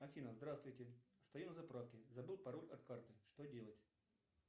афина здравствуйте стою на заправке забыл пароль от карты что делать